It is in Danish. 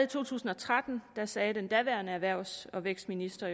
to tusind og tretten sagde den daværende erhvervs og vækstminister